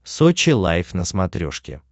сочи лайф на смотрешке